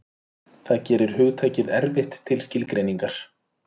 Það gerir hugtakið erfitt til skilgreiningar.